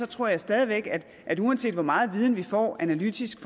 tror jeg stadig væk at uanset hvor meget viden vi får analytisk